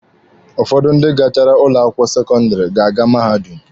Ụfọdụ ndị gachara ụlọ akwụkwọ sekọndịrị ga-aga mahadum.